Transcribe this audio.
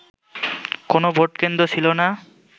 কোন ভোটকেন্দ্র ছিলনা